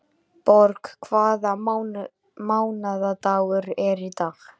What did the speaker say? Borg, hvaða mánaðardagur er í dag?